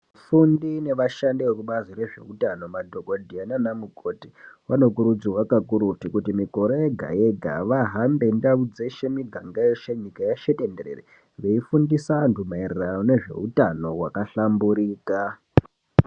Vafundi nevashandi vekubazi rezveutano madhokodheya nana mukoti vanokurudzirwa kakurutu kuti mikore yega-yega vahambe ndau dzeshe, miganga yeshe nyika yeshe tenderere veifundisa antu maererano nezveutano hwakahlamburika.